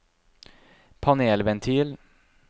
panelventil